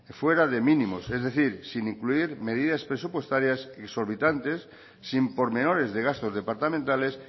fuera de mínimos es decir sin incluir medidas presupuestarias y desorbitantes sin por menores de gastos departamentales